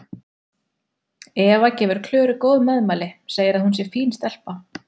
Eva gefur Klöru góð meðmæli, segir að hún sé fín stelpa.